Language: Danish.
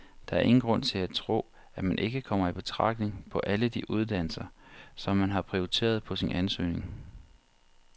Der er ingen grund til at tro, at man ikke kommer i betragtning på alle de uddannelser, som man har prioriteret på sin ansøgning.